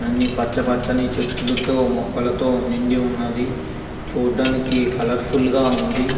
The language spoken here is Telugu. అని పచ పచని చేతలతో మోకాళ తో నిండి వున్నది. చూడడానికి కలర్ఫుల్ గ వున్నది.